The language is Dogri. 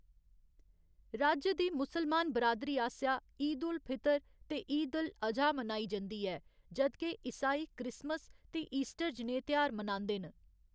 राज्य दी मुसलमान बरादरी आसेआ ईद उल फितर ते ईद उल अजहा मनाई जंदी ऐ, जद के ईसाई क्रिसमस ते ईस्टर जनेह् तेहार मनांदे न।